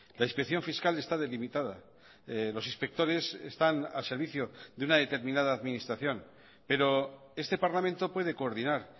la inspección fiscal está delimitada los inspectores están al servicio de una determinada administración pero este parlamento puede coordinar